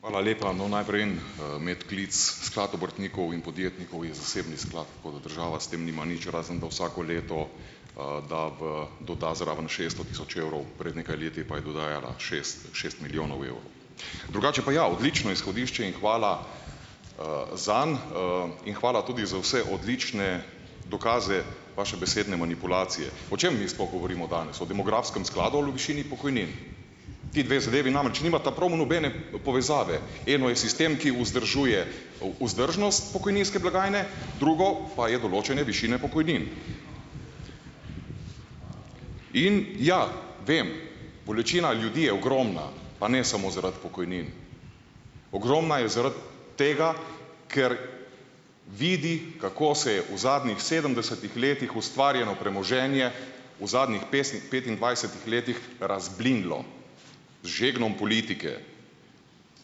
Hvala lepa. No, najprej en, medklic, sklad obrtnikov in podjetnikov je zasebni sklad, tako da država s tem nima nič razen, da vsako leto, da v doda zraven šeststo tisoč evrov, pred nekaj leti pa je dodajala šest, šest milijonov evrov. Drugače pa ja, odlično izhodišče in hvala, zanj, in hvala tudi za vse odlične dokaze vaše besedne manipulacije. O čem mi sploh govorimo danes? O demografskem skladu ali o višini pokojnin? Ti dve zadevi namreč nimata prav nobene povezave, eno je sistem, ki vzdržuje vzdržnost pokojninske blagajne, drugo pa je določanje višine pokojnin. In ja, vem, bolečina ljudi je ogromna, pa ne samo zaradi pokojnin, ogromna je zaradi tega, ker vidi, kako se je v zadnjih sedemdesetih letih ustvarjeno premoženje v zadnjih petindvajsetih letih razblinilo z žegnom politike.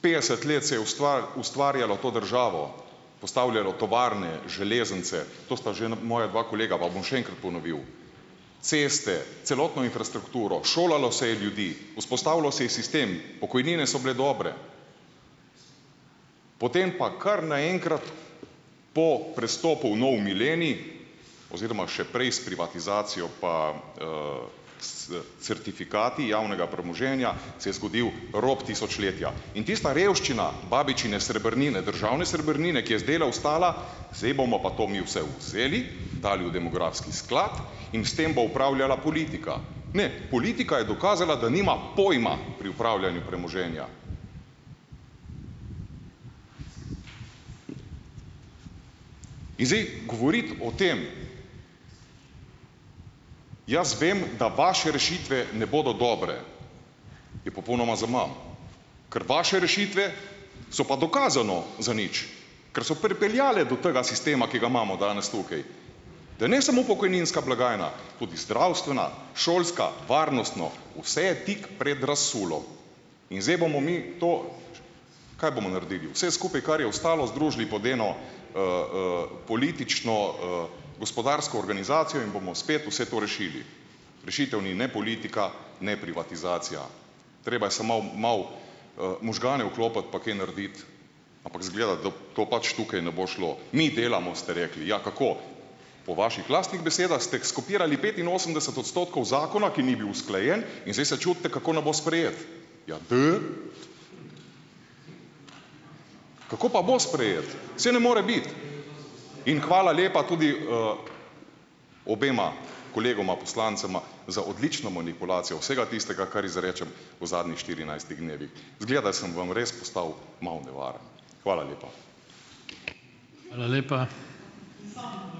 Petdeset let se je ustvarjalo to državo, postavljalo tovarne, železnice, to sta že moja dva kolega, pa bom še enkrat ponovil, ceste, celotno infrastrukturo, šolalo se je ljudi, vzpostavilo se je sistem, pokojnine so bile dobre. Potem pa kar naenkrat po prestopu v nov milenij oziroma še prej s privatizacijo, pa, certifikati javnega premoženja se je zgodil rop tisočletja. In tista revščina babičine srebrnine, državne srebrnine, ki je z dela ostala, zdaj bomo pa to mi vse vzeli, dali v demografski sklad in s tem bo upravljala politika. Ne, politika je dokazala, da nima pojma pri upravljanju premoženja. In zdaj govoriti o tem, jaz vem, da vaše rešitve ne bodo dobre, je popolnoma zaman, ker vaše rešitve so pa dokazano zanič, ker so pripeljale do tega sistema, ki ga imamo danes tukaj, da ne samo pokojninska blagajna tudi zdravstvena, šolska, varnostna, vse je tik pred In zdaj bomo mi to, kaj bomo naredili, vse skupaj, kar je ostalo, združili pod eno, politično, gospodarsko organizacijo in bomo spet vse to rešili. Rešitev ni ne politika ne privatizacija. Treba je samo malo malo, možgane vklopiti pa kaj narediti, ampak izgleda, da to pač tukaj ne bo šlo, mi delamo, ste rekli. Ja, kako? Po vaših lastnih besedah ste skopirali petinosemdeset odstotkov zakona, ki ni bil usklajen in zdaj se čudite, kako ne bo sprejet. Ja, da. Kako pa bo sprejet? Saj ne more biti in hvala lepa tudi, obema kolegoma poslancema za odlično manipulacijo vsega tistega, kar izrečem v zadnjih štirinajstih dnevih, izgleda sem vam res postal malo nevaren. Hvala lepa.